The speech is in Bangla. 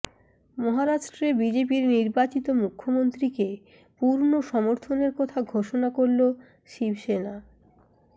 মহারাষ্ট্রে বিজেপির নির্বাচিত মুখ্যমন্ত্রীকে পূর্ণ সমর্থনের কথা ঘোষণা করল শিবসেনা